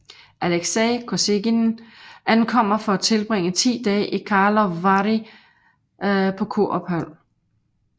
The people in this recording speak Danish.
Alexei Kosygin ankommer for at tilbringe 10 dage i Karlovy Vary på et kurophold